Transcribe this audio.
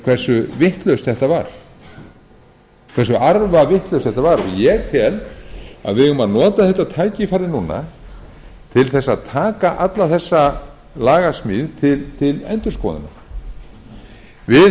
hversu vitlaust þetta var hversu arfavitlaust þetta var ég tel að við eigum að nota þetta tækifæri núna til þess að taka alla þessa lagasmíð til endurskoðunar við